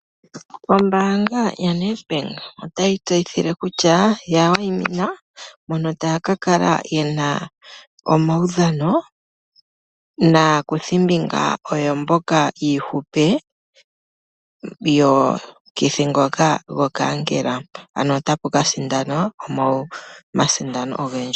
Ombaanga yaNedbank otayi tseyihile kutya yawayimina mono taya kakala yena omawudhano naakuthi mbinga oyo mbika yihupe yomukithi ngoka gonkaankela , ano otapu kasindanwa omasndano ogendji.